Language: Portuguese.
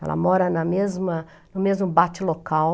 Ela mora na mesma no mesmo bate local.